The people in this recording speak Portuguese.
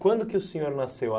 Quando que o senhor nasceu?